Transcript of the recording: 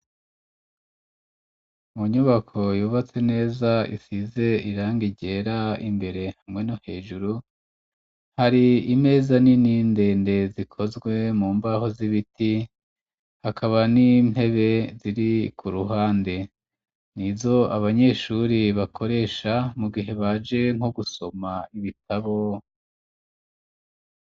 Mu nyubako yubatse neza isize iranga ryera imbere hamwe no hejuru hari imeza nini ndende zikozwe mu mbaho z'ibiti ,hakaba n'intebe ziri ku ruhande, ni izo abanyeshuri bakoresha mu gihe baje nko gusoma ibitabo.